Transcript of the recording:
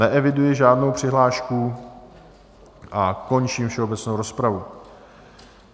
Neeviduji žádnou přihlášku a končím všeobecnou rozpravu.